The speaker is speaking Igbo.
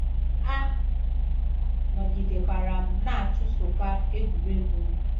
A nọgidekwara m na-achụsokwa egwuregwu m.